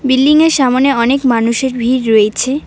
বিল্ডিংয়ের সামনে অনেক মানুষের ভিড় রয়েছে।